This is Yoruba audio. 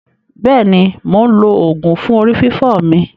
Bẹ́è ni, mò ń lo oògùn fún orí fífọ́ mi.